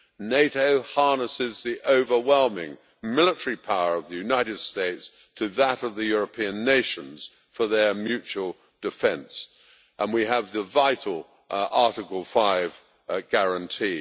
NATO harnesses the overwhelming military power of the United States to that of the European nations for their mutual defence, and we have the vital Article 5 guarantee.